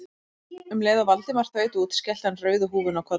Um leið og Valdimar þaut út skellti hann rauðu húfunni á kollinn.